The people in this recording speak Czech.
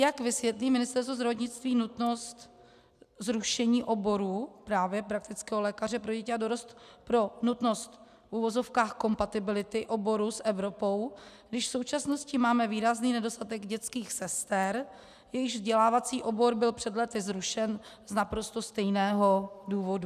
Jak vysvětlí Ministerstvo zdravotnictví nutnost zrušení oboru právě praktického lékaře pro děti a dorost pro nutnost v uvozovkách kompatibility oboru s Evropou, když v současnosti máme výrazný nedostatek dětských sester, jejichž vzdělávací obor byl před lety zrušen z naprosto stejného důvodu?